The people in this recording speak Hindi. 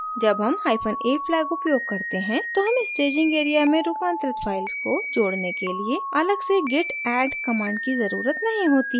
जब हम hyphen a flag उपयोग करते हैं तो हमें staging area में रूपांतरित files को जोड़ने के लिए अलग से git add command की ज़रुरत नहीं होती है